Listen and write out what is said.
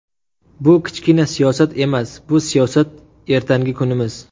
Bu kichkina siyosat emas, bu siyosat ertangi kunimiz.